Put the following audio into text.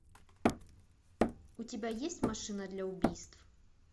у тебя есть машина для убийств